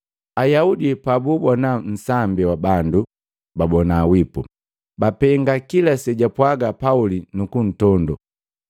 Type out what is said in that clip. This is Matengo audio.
Ayaudi pabuubona nsambi wa bandu babona wipu, bapenga kila sejapwaga Pauli nukuntondoo.